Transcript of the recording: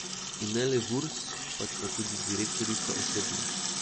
In ne le Vurs, pač pa tudi direktorica osebno.